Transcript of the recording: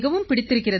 பிடித்திருக்கிறது